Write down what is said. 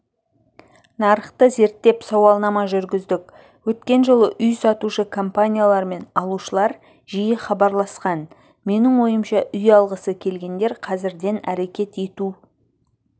нарықты зерттеп сауалнама жүргіздік өткен жылы үй сатушы компаниялар мен алушылар жиі хабарласқан менің ойымша үй алғысы келгендер қазірден әрекет ету